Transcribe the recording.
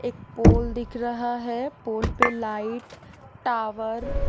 एक पोल दिख रहा है पोल पे लाइट टावर --